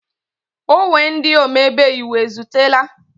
Ogwe ndị omebe iwu ezutela?